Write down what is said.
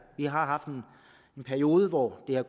vi har haft en periode hvor det har